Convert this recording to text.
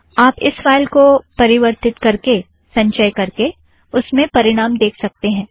आप इस फ़ाइल को परिवर्थित करके संचय करके उसमें परिणाम देख सकतें हैं